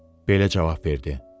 Belə cavab verdi: